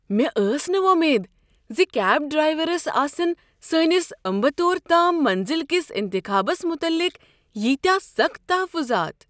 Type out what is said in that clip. مےٚ ٲس نہٕ وۄمید ز کیب ڈرٛایورس آسن سٲنِس امبتور تام منزل كِس انتخابس متعلق ییتیاہ سخٕت تحفُضات۔